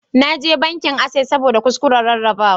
Na je bankin Access ne saboda kuskuren rarrabawa